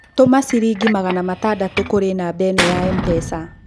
Tũma ciringi magana matandatũ kũrĩ namba ĩno ya mpesa.